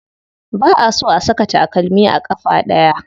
Ba a so a saka takalmi a ƙafa ɗaya.